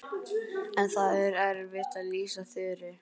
En það er erfitt að lýsa Þuru.